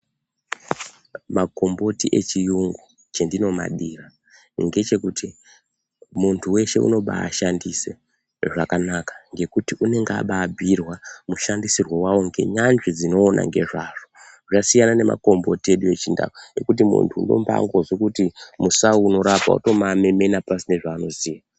Makomboti echiyungu chendinomadira ngechekuti muntu veshe unoba shandise zvakanaka ngekuti unenge abambuirwa mushandisirwo vavo ngenyanzvi dzinoona ngezvazvo. Zvasiyana nemakomboti edu echindau muntu unombandozwe kuti musau unorapa votomamemena pasina zvaanoziya.